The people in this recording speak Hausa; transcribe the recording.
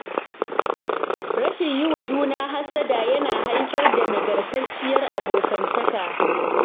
Rashin yi wa juna hassada yana haifar da nagartacciyar abokantaka.